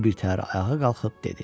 O birtəhər ayağa qalxıb dedi: